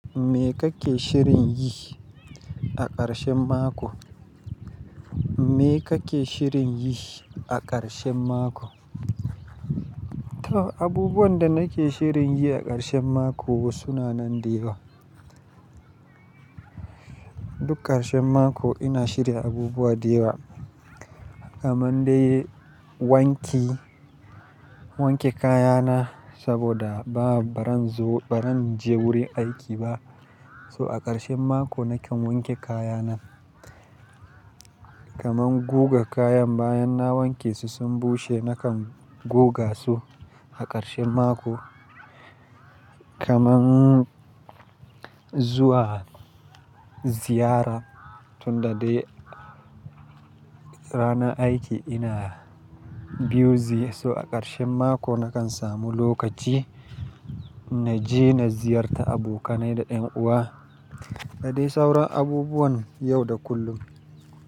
Me kake shirin yi a ƙarshen mako? Me kake shirin yi a ƙarshen mako? To abubuwan da nake shirin yi a ƙarshen mako suna nan da yawa. Duk ƙarshen mako ina shirya abubuwa da yawa. Kaman dai wanki, wanke kaya na saboda ba baran zo, baran je wurin aiki ba. So a ƙarshen mako nakan wanke kaya na. Kaman goga kayan bayan na wanke su sun bushe nakan goga su a ƙarshen mako. Kaman zuwa ziyara tunda dai rana aiki ina biyu zai so a ƙarshen mako nakan samu lokaci na je na ziyarta abokanai da ƴan uwa. Da dai sauran abubuwan yau da kullum.